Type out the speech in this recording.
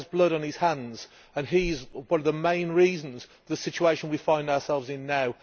He has blood on his hands and he is one of the main reasons for the situation we find ourselves in now.